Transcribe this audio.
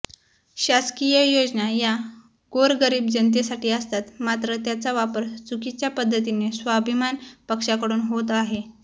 शासकीय योजना या गोरगरीब जनतेसाठी असतात मात्र त्याचा वापर चुकीच्या पद्धतीने स्वाभिमान पक्षाकडून होत आहे